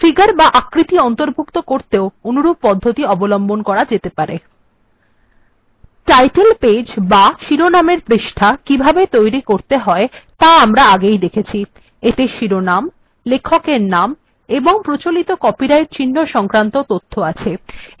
figure বা আকৃতি অন্তর্ভুক্ত করতেও অনুরূপ পদ্ধতি অবলম্বন করা যেতে পারে টাইটল্ পেজ বা শিরোনাম এর পৃষ্ঠা কিভাবে তৈরী করতে হয় ত়া আমরা আগেই দেখেছি এতে শিরোনাম লেখকের নাম এবং প্রচলিত কপিরাইট্ চিন্হ সংক্রান্ত তথ্য আছে